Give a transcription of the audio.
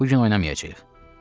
Bu gün oynamayacağıq.